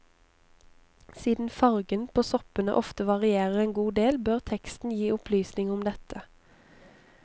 Siden fargen på soppene ofte varierer en god del, bør teksten gi opplysning om dette.